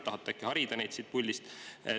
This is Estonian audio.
Tahate äkki harida neid siit puldist?